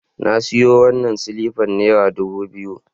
Na sayo wannan silifan naira dubu biyu